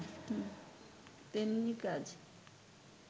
তেমনি কাজ